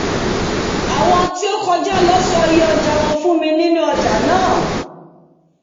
áwọn tí ó kojá lọ sọ iye ọ̀jà wọn fún mi nínú ọjà náà